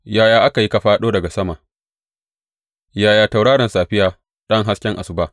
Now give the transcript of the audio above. Yaya aka yi ka fāɗo daga sama Ya tauraron safiya, ɗan hasken asuba!